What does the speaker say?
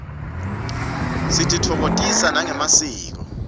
sititfokotisa nangemasiko